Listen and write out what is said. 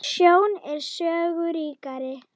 Sjón er sögu ríkari!